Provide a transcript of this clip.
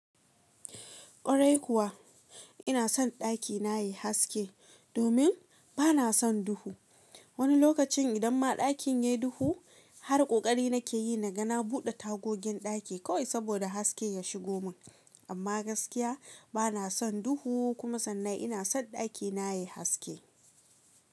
Kwarai kuwa ina son ɗaki na yayi haske domin bana son duhu. Wani lokacin idan ma ɗakin yayi duhu har ƙoƙari nake yi na ga na buɗe tagogin ɗaki kawai saboda haske ya shigo mun. Amma gaskiya bana son duhu kuma sannan ina son ɗakina yayi haske.